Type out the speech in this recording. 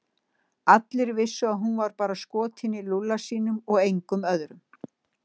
Allir vissu að hún var bara skotin í Lúlla sínum og engum öðrum.